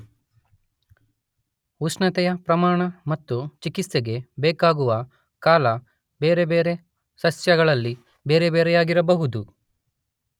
ಉಷ್ಣತೆಯ ಪ್ರಮಾಣ ಮತ್ತು ಚಿಕಿತ್ಸೆಗೆ ಬೇಕಾಗುವ ಕಾಲ ಬೇರೆ ಬೇರೆ ಸಸ್ಯಗಳಲ್ಲಿ ಬೇರೆ ಬೇರೆಯಾಗಿರಬಹುದು.